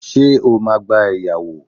Ṣé o máa gba ẹ̀yáwó?